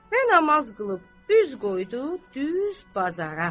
Və namaz qılıb, üz qoydu düz bazara.